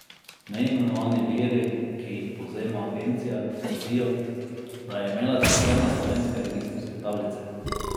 Neimenovani viri, ki jih povzema agencija, trdijo, da je imela cisterna slovenske registrske tablice.